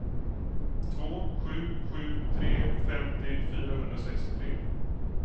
två sju sju tre femtio fyrahundrasextiotre